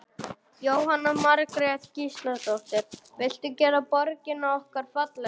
Jóhanna Margrét Gísladóttir: Viltu gera borgina okkar fallegri?